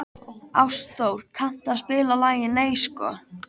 Ástþór, kanntu að spila lagið „Nei sko“?